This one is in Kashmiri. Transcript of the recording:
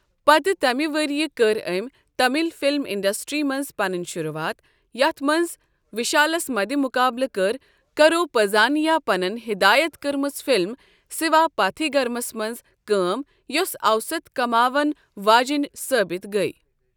پتہٕ تمہ ؤرۍ یہ کٔر أمۍ تمل فِلم انڈسٹری منٛز پنٕنۍ شروٗعات، یَتھ منٛز وشالس مدٕمقابلہٕ کٔر کرو پزہانیاپنَن ہدایت کٔرمٕژ فِلم سِواپاتھیگرمَس منٛز کٲم، یۄس اوسط کماوَن واجیٚنۍ ثٲبت گٔیہ۔